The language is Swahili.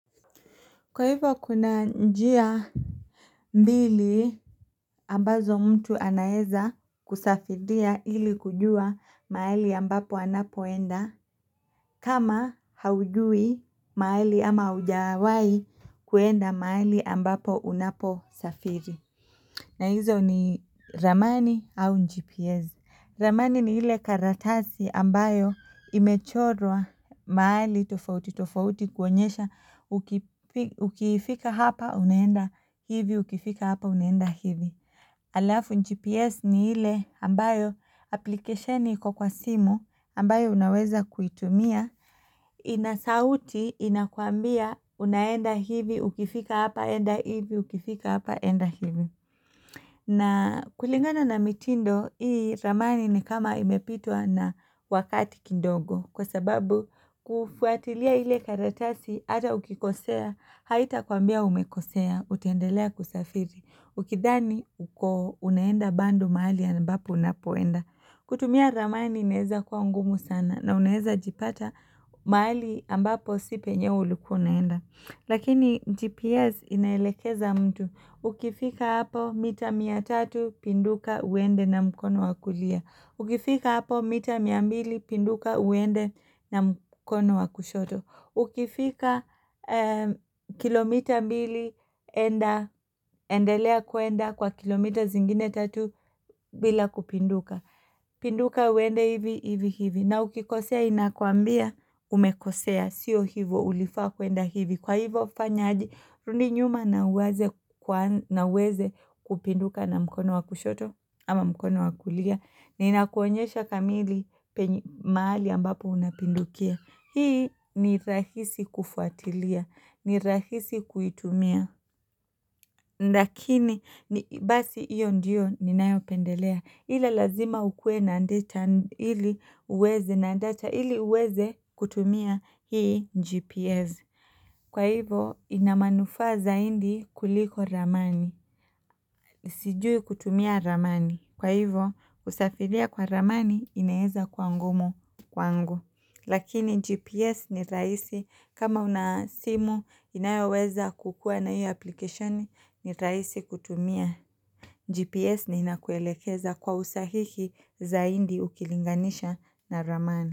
Kwa hivyo kuna njia mbili ambazo mtu anaeza kusafidia ili kujua mahali ambapo anapoenda kama haujui mahali ama haujawahi kuenda mahali ambapo unaposafiri na hizo ni ramani au GPS ramani ni ile karatasi ambayo imechorwa mahali tofauti, tofauti kuonyesha ukifika hapa, unaenda hivi, ukifika hapa, unaenda hivi. Alafu GPS ni ile ambayo applicationi iko kwa simu ambayo unaweza kuitumia, ina sauti, inakuambia, unaenda hivi, ukifika hapa, enda hivi, ukifika hapa, enda hivi. Na kulingana na mitindo hii ramani ni kama imepitwa na wakati kidogo kwa sababu kufuatilia ile karatasi hata ukikosea haitakwambia umekosea utaendelea kusafiri ukidhani uko unaenda bado mahali ambapo unapoenda. Kutumia ramani inaeza kuwa ngumu sana na unaeza jipata majali ambapo si penye ulikuwa unaenda. Lakini GPS inaelekeza mtu. Ukifika hapo mita mia tatu pinduka uende na mkono wa kulia. Ukifika hapo mita mia mbili pinduka uende na mkono wa kushoto. Ukifika kilo mita mbili endelea kuenda kwa kilomita zingine tatu bila kupinduka. Pinduka uende hivi hivi hivi na ukikosea inakuambia umekosea Sio hivo ulifaa kuenda hivi Kwa hivo fanya aje rudi nyuma na uweze kupinduka na mkono wa kushoto ama mkono wa kulia na inakuonyesha kamili mahali ambapo unapindukia Hii ni rahisi kufuatilia ni rahisi kuitumia lakini basi hiyo ndiyo ninayopendelea ile lazima ukue na data ili uweze na data ili uweze kutumia hii gps Kwa hivo ina manufa zaidi kuliko ramani Sijui kutumia ramani Kwa hivo kusafiria kwa ramani inaeza kuwa ngumu kwangu Lakini gps ni rahisi kama una simu inayoweza kukua na hio application ni rahisi kutumia GPS na inakuelekeza kwa usahihi zaidi ukilinganisha na ramani.